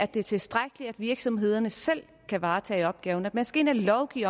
det er tilstrækkeligt at virksomhederne selv kan varetage opgaven men at der skal lovgives